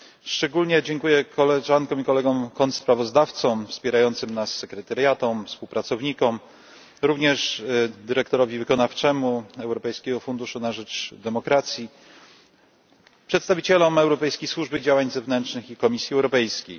Szczególnie dziękuję koleżankom i kolegom kontrsprawozdawcom, wspierającym nas sekretariatom, współpracownikom, również dyrektorowi wykonawczemu Europejskiego Funduszu na rzecz Demokracji, przedstawicielom Europejskiej Służby Działań Zewnętrznych i Komisji Europejskiej.